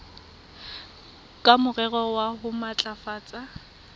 ka morero wa ho matlafatsa